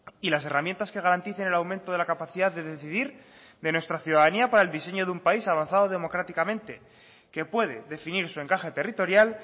y las herramientas que garanticen el aumento de la capacidad de decidir de nuestra ciudadanía para el diseño de un país avanzado democráticamente que puede definir su encaje territorial